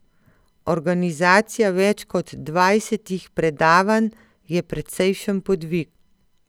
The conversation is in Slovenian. Organizacija več kot dvajsetih predavanj je precejšen podvig.